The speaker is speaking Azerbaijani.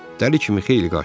Dəli kimi xeyli qaçdı.